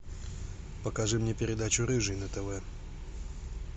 покажи мне передачу рыжий на тв